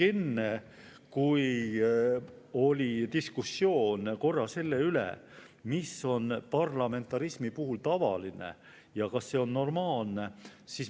Enne oli korra diskussioon selle üle, mis on parlamentarismi puhul tavaline ja kas see on normaalne.